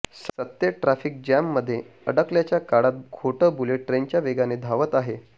सत्य ट्राफिक जॅममध्ये अडकल्याच्या काळात खोटं बुलेट ट्रेनच्या वेगाने धावतं आहे